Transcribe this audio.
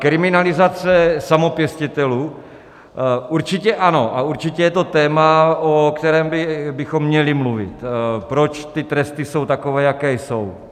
Kriminalizace samopěstitelů: určitě ano a určitě je to téma, o kterém bychom měli mluvit, proč ty tresty jsou takové, jaké jsou.